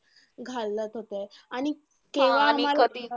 घालत होते आणि केव्हा आम्हांला